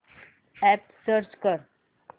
app search कर